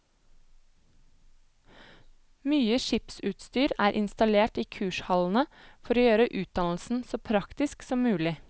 Mye skipsutstyr er installert i kurshallene for å gjøre utdannelsen så praktisk som mulig.